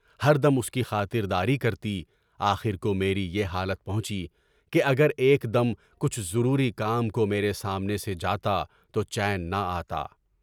ہر دم اُس کی خاطر داری کرتی، آخر کو میری یہ حالت پہنچی کہ اگر ایک دم پیچھے ضروری کام کو میرے سامنے سے جاتا تو چین نہ آتا۔